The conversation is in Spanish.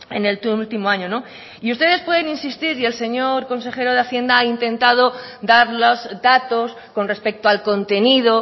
en el último año y ustedes pueden insistir y el señor consejero de hacienda ha intentado dar los datos con respecto al contenido